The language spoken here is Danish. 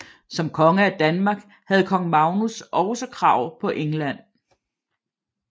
Som konge af Danmark havde kong Magnus også krav på England